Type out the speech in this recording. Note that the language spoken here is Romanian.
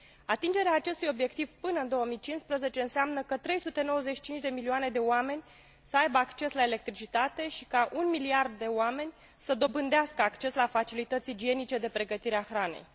Atingerea acestui obiectiv până în 2015 înseamnă ca 395 de milioane de oameni să aibă acces la electricitate și ca 1 miliard de oameni să dobândească acces la facilități igienice de pregătire a hranei.